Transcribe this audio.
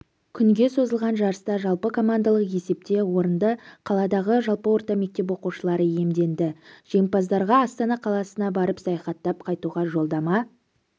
күнге созылған жарыста жалпы командалық есепте орынды қаладағы жалпы орта мектеп оқушылары иемденді жеңімпаздарға астана қаласына барып саяхаттап қайтуға жолдама